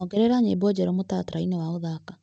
Ongerera nyĩmbo njerũ mũtaratara-inĩ wa gũthaka.